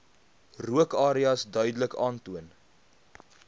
rookareas duidelik aantoon